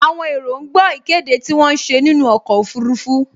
Àwọn èrò ń gbọ́ ìkéde tí wọ́n ń ṣe nínú ọkọ̀ ọfurufú